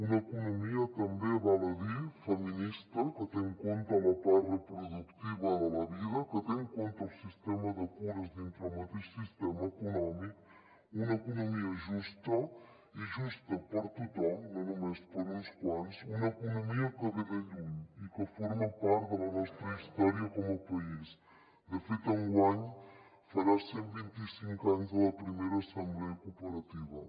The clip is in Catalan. una economia també val a dir feminista que té en compte la part reproductiva de la vida que té en compte el sistema de cures dintre del mateix sistema econòmic una economia justa i justa per a tothom no només per a uns quants una economia que ve de lluny i que forma part de la nostra història com a país de fet enguany farà cent i vint cinc anys de la primera assemblea cooperativa